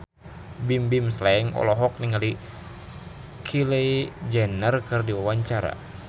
Bimbim Slank olohok ningali Kylie Jenner keur diwawancara